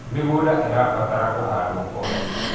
mĩgũnda irabatara kuhandwo o hĩndĩ